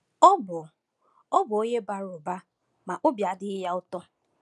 Ọ bụ Ọ bụ onye bara ụba, ma obi adịghị ya ụtọ.